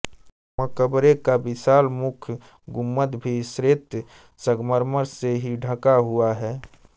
मकबरे का विशाल मुख्य गुम्बद भी श्वेत संगमर्मर से ही ढंका हुआ है